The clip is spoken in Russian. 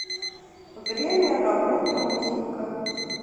время работы мухинка